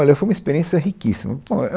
Olha, foi uma experiência riquíssima, bom é um